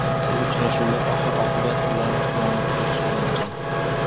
Bu uchrashuvlar oxir-oqibat ularni xiyonat qilishga undadi.